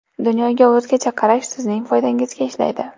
Dunyoga o‘zgacha qarash sizning foydangizga ishlaydi.